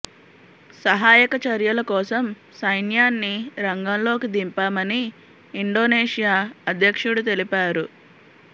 సహాయక చర్యల కోసం సైన్యాన్ని రంగంలోకి దింపామని ఇండొనేషియా అధ్యక్షుడు తెలిపారు